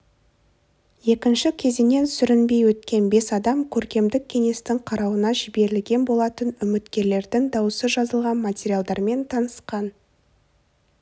екінші кезеңнен сүрінбей өткен бес адам көркемдік кеңестің қарауына жіберілген болатын үміткерлердің дауысы жазылған материалдармен танысқан